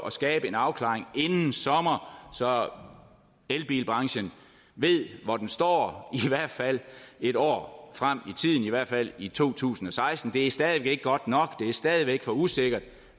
at skabe en afklaring inden sommer så elbilbranchen ved hvor den står i hvert fald en år frem i i hvert fald i to tusind og seksten det er stadig ikke godt nok det er stadig væk for usikkert